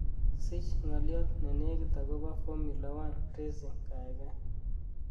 sich ng'olyot nenegit agopo formula one racing gaigai